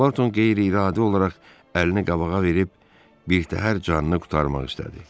Barton qeyri-iradi olaraq əlini qabağa verib birtəhər canını qurtarmaq istədi.